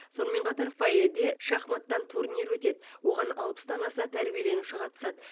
сонымен қатар фойеде шахматтан турнир өтеді оған алпыстан аса тәрбиеленуші қатысады